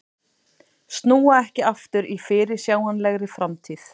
Snúa ekki aftur í fyrirsjáanlegri framtíð